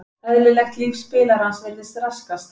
Eðlilegt líf spilarans virðist raskast.